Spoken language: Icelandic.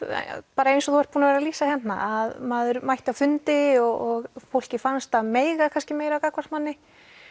bara eins og þú ert búin að vera að lýsa hérna að maður mætti á fundi og fólki fannst það mega kannski meira gagnvart manni